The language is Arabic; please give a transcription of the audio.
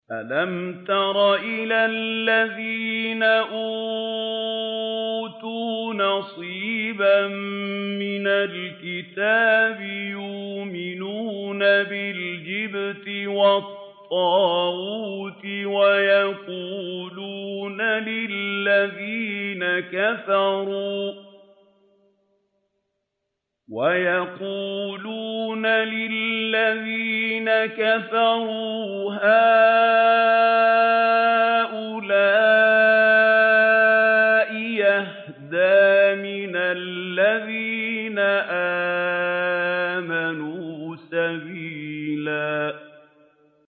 أَلَمْ تَرَ إِلَى الَّذِينَ أُوتُوا نَصِيبًا مِّنَ الْكِتَابِ يُؤْمِنُونَ بِالْجِبْتِ وَالطَّاغُوتِ وَيَقُولُونَ لِلَّذِينَ كَفَرُوا هَٰؤُلَاءِ أَهْدَىٰ مِنَ الَّذِينَ آمَنُوا سَبِيلًا